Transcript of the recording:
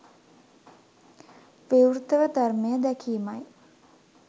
විවෘතව ධර්මය දැකීමයි